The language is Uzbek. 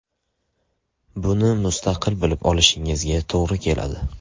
Buni mustaqil bilib olishingizga to‘g‘ri keladi.